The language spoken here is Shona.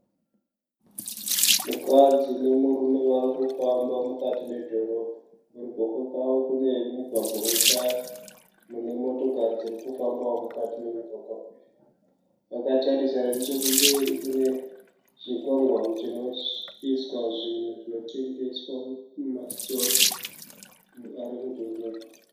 Mukadzi nemurume vari kufamba mukati medhorobha. Kuruboshwe kwavo kune mugwagwa wetara mune motokari dziri kufambawo mukati memugwagwagwa uyu. Kwakatarisana nechekumberi kune chikwangwani chinoiswa zvinhu zvinotengeswa mumasitoro ari mudhorobha.